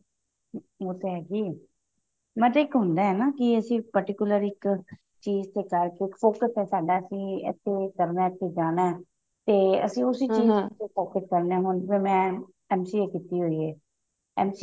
ਉਹ ਤਾਂ ਹੈਗੀ ਹੈ ਨਾ ਤੇ ਇੱਕ ਹੁੰਦਾ ਨਾ ਅਸੀਂ particular ਇੱਕ ਚੀਜ਼ ਤੇ ਕਰਕੇ focus ਹੈ ਸਾਡਾ ਅਸੀਂ ਇੱਥੇ ਇਹ ਇੱਥੇ ਜਾਣਾ ਤੇ ਅਸੀਂ ਉਸੀ ਚੀਜ਼ ਨਾਲ focus ਕਰਨਾ ਮੈਂ MCA ਕੀਤੀ ਹੋਈ ਹੈ